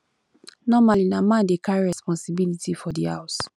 normally na man dey carry di responsibility for di house